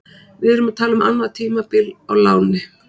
Við erum að tala um annað tímabil á láni.